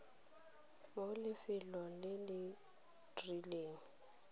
mo lefelong le le rileng